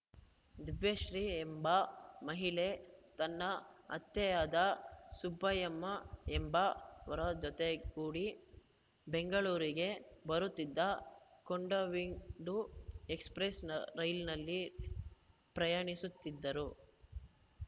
ದಿವ್ಯಾಶ್ರೀ ಎಂಬ ಮಹಿಳೆ ತನ್ನ ಅತ್ತೆಯಾದ ಸುಬ್ಬಯಮ್ಮ ಎಂಬ ವರ ಜೊತೆಗೂಡಿ ಬೆಂಗಳೂರಿಗೆ ಬರುತ್ತಿದ್ದ ಕೊಂಡವಿಂಡು ಎಕ್ಸ್‌ಪ್ರೆಸ್‌ ರೈಲನಲ್ಲಿ ಪ್ರಯಾಣಿಸುತ್ತಿದ್ದರು